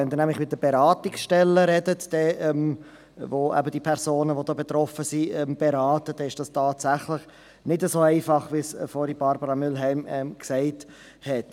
Wenn Sie nämlich mit den Beratungsstellen sprechen, die betroffene Personen beraten, ist das tatsächlich nicht so einfach, wie es Barbara Mühlheim vorhin gesagt hat.